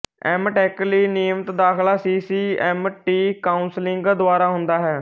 M tech ਲਈ ਨਿਯਮਤ ਦਾਖਲਾ C C M T counselling ਦੁਆਰਾ ਹੁੰਦਾ ਹੈ